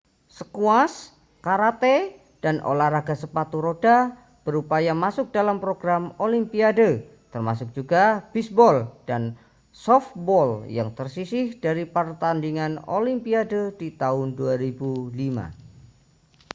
squash karate dan olahraga sepatu roda berupaya masuk dalam program olimpiade termasuk juga bisbol dan sofbol yang tersisih dari pertandingan olimpiade di tahun 2005